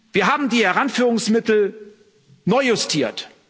Wir haben die Heranführungsmittel neu justiert.